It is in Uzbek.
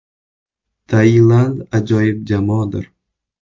Tailand ajoyib jamoadir.